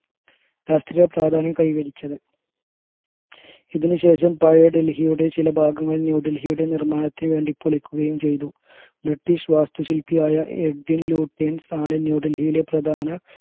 രാഷ്ട്രീയ പ്രാധാന്യം കൈവരിച്ചത് ഇതിനു ശേഷം പഴയ ഡൽഹിയുടെ ചില ഭാഗങ്ങൾ ന്യൂഡൽഹിയുടെ നിർമ്മാണത്തിന് വേണ്ടി പൊളിക്കുകയും ചെയ്തു british വാസ്തു ശില്പിയായ ആണ് ന്യൂഡൽഹിയിലെ പ്രധാന